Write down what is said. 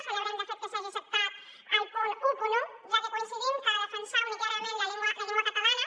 celebrem de fet que s’hagi acceptat el punt onze ja que coincidim que defensar unitàriament la llengua catalana